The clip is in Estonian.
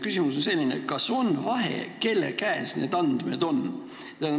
Küsimus on selline: kas on vahe, kelle käes need andmed on?